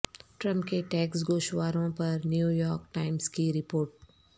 Trump کے tax گوشواروں پر نیویارک ٹائمز کی رپورٹ